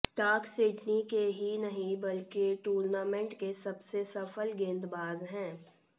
Stark Sydney के ही नहीं बल्कि टूर्नामेंट के सबसे सफल गेंदबाज हैं